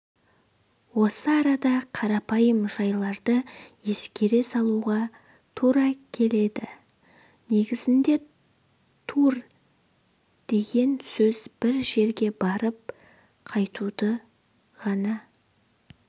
осы арада қарапайым жайларды еске салуға тура келеді негізінде тур деген сөз бір жерге барып-қайтуды ғана